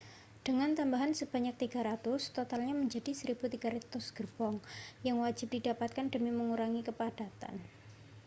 dengan tambahan sebanyak 300 totalnya menjadi 1.300 gerbong yang wajib didapatkan demi mengurangi kepadatan